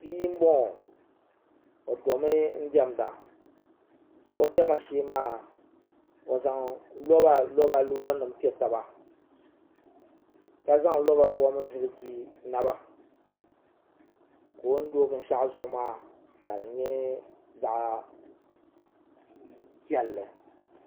bia n boŋo o domi diɛmda o diɛma shee maa o zaŋ loba loba loori nim piɛ taba ka zaŋ loba fom ziliji naba ka o ni do binshaɣu zuɣu maa ka di nyɛ zaɣ piɛlli